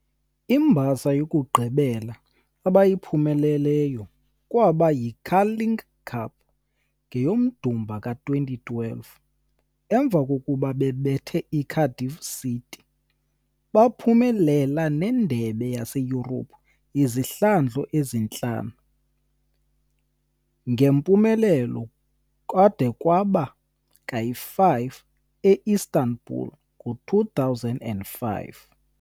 Imbasa yokugqibela abayiphumelelayo kwaba yi-Carling cup ngeyoMdumba ka-2012, emva kokuba bebethe iCardiff City. Baphumelela nendebe yaseYurophu izihlandlo ezintlanu, ngempumelelo kade kwaba ka-5 eIstanbul ngo 2005.